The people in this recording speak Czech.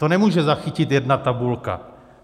To nemůže zachytit jedna tabulka.